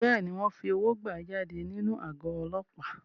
Bẹ́ẹ̀ni, wọ́n fi owó gbà á jáde nínú àgọ́ Ọlọ́pàá.